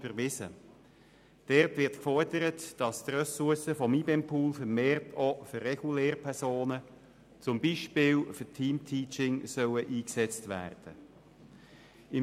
Darin wurde gefordert, dass die Ressourcen des IBEMPools vermehrt auch für Regellehrpersonen, zum Beispiel für Team-Teaching, eingesetzt werden sollen.